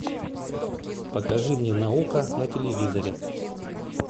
покажи мне наука на телевизоре